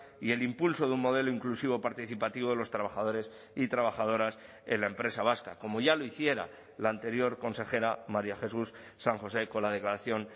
y el impulso de un modelo inclusivo participativo de los trabajadores y trabajadoras en la empresa vasca como ya lo hiciera la anterior consejera maría jesús san josé con la declaración